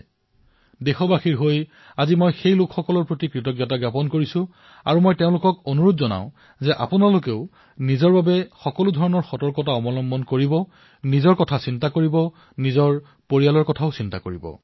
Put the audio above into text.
আজি প্ৰতিজন দেশবাসীৰ তৰফৰ পৰা মই সেইসকল লোকক কৃতজ্ঞতা প্ৰকাশ কৰিছো তেওঁলোকক অনুৰোধ কৰিছো যে নিজৰ বাবেও যেন তেওঁলোকে সুৰক্ষ্মাত্মক ব্যৱস্থা গ্ৰহণ কৰে নিজৰ ধ্যান ৰাখে আৰু পৰিয়ালৰো যাতে ধ্যান ৰাখে